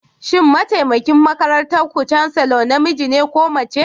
Shin mataimakin makarantar ku Chancellor namiji ne ko mace?